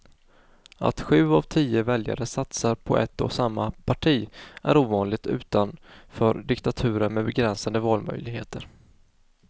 Att sju av tio väljare satsar på ett och samma parti är ovanligt utanför diktaturer med begränsade valmöjligheter.